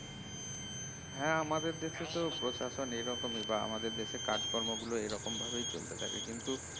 হ্যাঁ আমাদের দেশে তো প্রশাসন এরকমই বা আমাদের দেশে কাজকর্মগুলো এরকম ভাবেই চলতে থাকে কিনতু